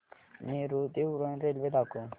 नेरूळ ते उरण रेल्वे दाखव